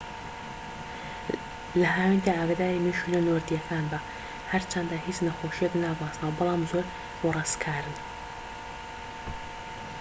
لە هاویندا ئاگاداری مێشولە نۆردیەکان بە هەرچەندە هیچ نەخۆشییەک ناگوازنەوە بەڵام زۆر وەڕسکارن